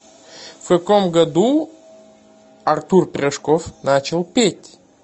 в каком году артур пирожков начал петь